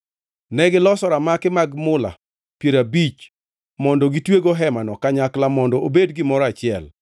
Negiloso ramaki mag mula piero abich mondo gitwego hemano kanyakla mondo obed gimoro achiel.